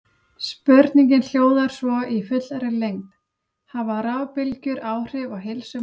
Spurningin hljóðar svo í fullri lengd: Hafa rafbylgjur áhrif á heilsu manna?